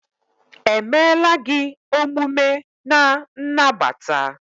emela gị omume n' nagbata?